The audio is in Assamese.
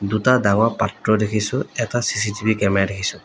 দুটা ডাঙৰ পাত্ৰ দেখিছোঁ এটা চি_চি_টি_ভি কেমেৰা দেখিছোঁ।